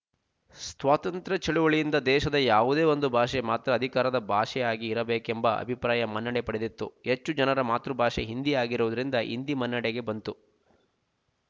ಸ್ತ್ವತಂತ್ರ ಚಳುವಳಿಯಿಂದ ದೇಶದ ಯಾವುದೇ ಒಂದು ಭಾಷೆ ಮಾತ್ರ ಅಧಿಕಾರ ಭಾಷೆಯಾಗಿ ಇರಬೇಕೆಂಬ ಅಭಿಪ್ರಾಯ ಮನ್ನಣೆ ಪಡೆದಿತ್ತು ಹೆಚ್ಚು ಜನರ ಮಾತೃಭಾಷೆ ಹಿಂದಿ ಆಗಿರುವುದರಿಂದ ಹಿಂದಿ ಮುನ್ನೆಡೆಗೆ ಬಂತು